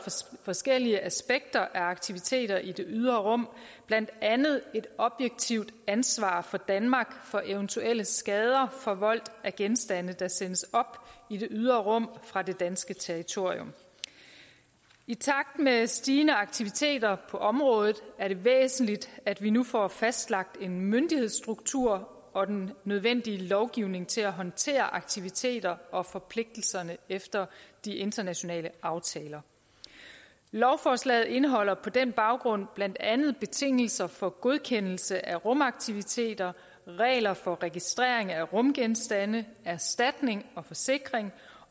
forskellige aspekter af aktiviteter i det ydre rum blandt andet et objektivt ansvar for danmark for eventuelle skader forvoldt af genstande der sendes op i det ydre rum fra det danske territorium i takt med stigende aktiviteter på området er det væsentligt at vi nu får fastlagt en myndighedsstruktur og den nødvendige lovgivning til at håndtere aktiviteter og forpligtelser efter de internationale aftaler lovforslaget indeholder på den baggrund blandt andet betingelser for godkendelse af rumaktiviteter regler for registrering af rumgenstande erstatning og forsikring